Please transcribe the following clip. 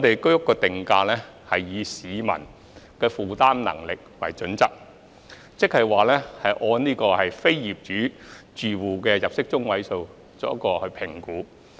居屋定價是以市民的負擔能力為基礎，即按非業主住戶的入息中位數作出評估。